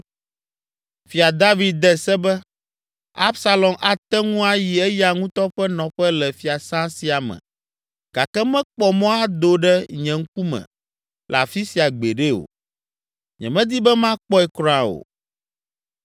Fia David de se be, “Absalom ate ŋu ayi eya ŋutɔ ƒe nɔƒe le fiasã sia me gake mekpɔ mɔ ado ɖe nye ŋkume le afi sia gbeɖe o. Nyemedi be makpɔe kura o!”